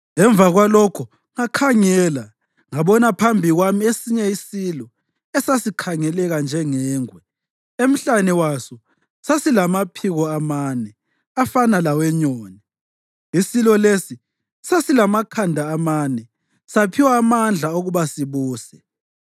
Ngemva kwalokho ngakhangela ngabona phambi kwami esinye isilo esasikhangeleka njengengwe. Emhlane waso sasilamaphiko amane afana lawenyoni. Isilo lesi sasilamakhanda amane, saphiwa amandla okuba sibuse.”